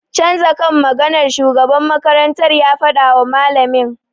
Canza kan maganar!' shugaban makarantar ya fadawa malamin.